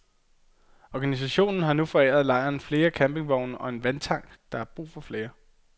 Organisationen har nu foræret lejren flere campingvogne og en vandtank, men der er brug for flere.